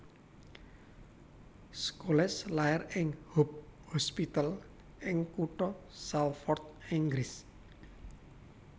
Scholes lair ing Hope Hospital ing kutha Salford Inggris